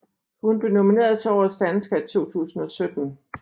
Hun blev nomineret til Årets dansker i 2017